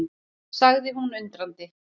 sagði hún undrandi.